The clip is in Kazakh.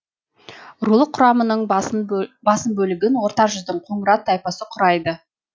рулық құрамының басым бөлігін орта жүздің қоңырат тайпасы құрайды